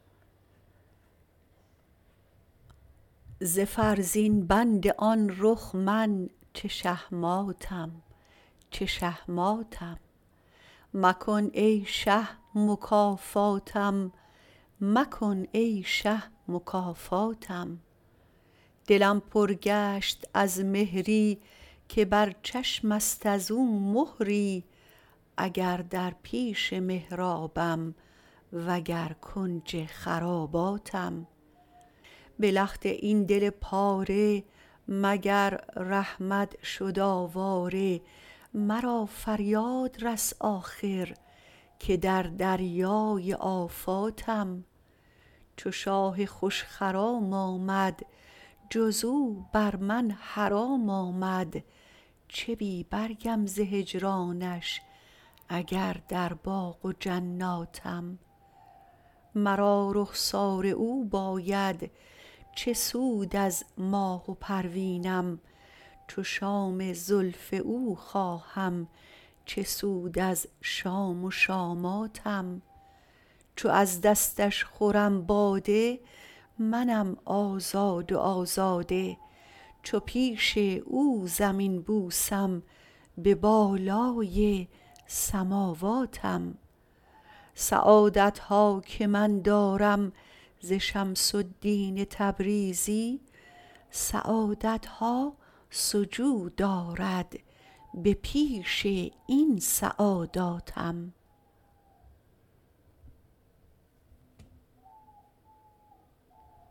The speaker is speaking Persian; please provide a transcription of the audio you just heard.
ز فرزین بند آن رخ من چه شهماتم چه شهماتم مکن ای شه مکافاتم مکن ای شه مکافاتم دلم پر گشت از مهری که بر چشمت از او مهری اگر در پیش محرابم وگر کنج خراباتم به لخت این دل پاره مگر رحمت شد آواره مرا فریاد رس آخر که در دریای آفاتم چو شاه خوش خرام آمد جز او بر من حرام آمد چه بی برگم ز هجرانش اگر در باغ و جناتم مرا رخسار او باید چه سود از ماه و پروینم چو شام زلف او خواهم چه سود از شام و شاماتم چو از دستش خورم باده منم آزاد و آزاده چو پیش او زمین بوسم به بالای سماواتم سعادت ها که من دارم ز شمس الدین تبریزی سعادت ها سجود آرد به پیش این سعاداتم